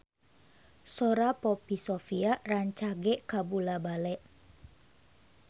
Sora Poppy Sovia rancage kabula-bale